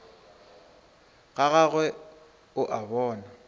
ga gagwe o a bona